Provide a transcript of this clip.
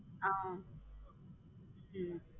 ஹம் உம்